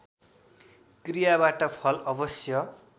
क्रियाबाट फल अवश्य